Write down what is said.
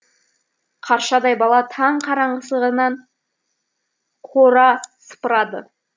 қаршадай бала таң қараңғысынан қора сыпырады